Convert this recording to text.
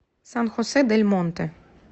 сан хосе дель монте